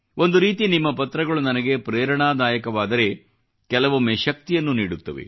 ಒಂದು ರೀತಿ ನಿಮ್ಮ ಪತ್ರಗಳು ನನಗೆ ಪ್ರೇರಣಾದಾಯಕವಾದರೆ ಕೆಲವೊಮ್ಮೆ ಶಕ್ತಿಯನ್ನು ನೀಡುತ್ತವೆ